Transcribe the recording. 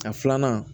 A filanan